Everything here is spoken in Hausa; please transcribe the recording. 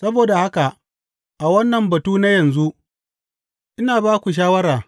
Saboda haka, a wannan batu na yanzu, ina ba ku shawara.